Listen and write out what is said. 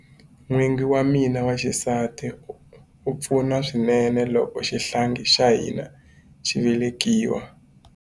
N'wingi wa mina wa xisati a pfuna swinene loko xihlangi xa hina xi velekiwa.